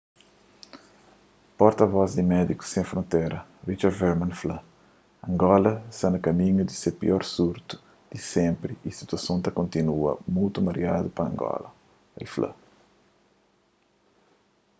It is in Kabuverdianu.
porta-vos di médikus sen frontera richard veerman fla angola sta na kaminhu di se pior surtu di senpri y situason ta kontínua mutu mariadu na angola el fla